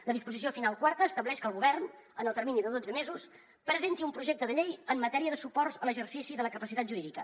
la disposició final quarta estableix que el govern en el termini de dotze mesos presenti un projecte de llei en matèria de suports a l’exercici de la capacitat jurídica